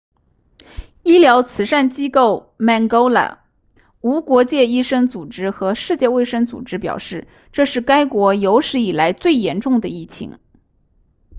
医疗慈善机构 mangola 无国界医生组织和世界卫生组织表示这是该国有史以来最严重的疫情